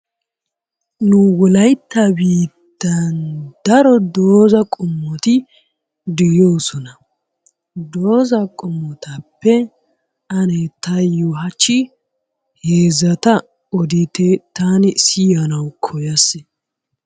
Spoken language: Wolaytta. Nu wolaytta biittaan daro doozza qommoti de'oosona, doozza qommotappe ane taayo hachchi heezzata oditte taani siyanawu koyaas.